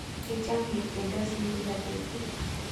Kichame ketyendosi kila petut